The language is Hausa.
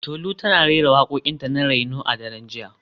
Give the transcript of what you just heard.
Tolu tana rera wakokinta na reno a daren jiya